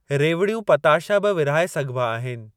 रेवड़ियूं पताशा बि विरहाए सघिबा आहिनि।